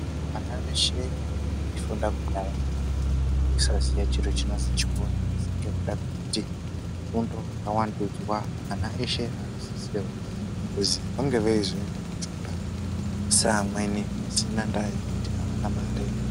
Vana veshe vaifunda kudhaya vaisaziye chiro chinozwi chikora asi ngekuda kwekuti fundo yawandudzwa ana eshe akusisirwa kuzi vange veizoendawo kuchikora saamweni pasina ndaa yekuti avana mare.